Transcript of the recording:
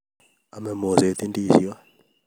Ame moset indisiot